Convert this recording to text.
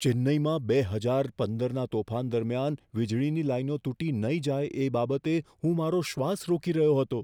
ચેન્નઈમાં બે હજાર પંદરના તોફાન દરમિયાન વીજળીની લાઈનો તૂટી નહીં જાય એ બાબતે હું મારો શ્વાસ રોકી રહ્યો હતો.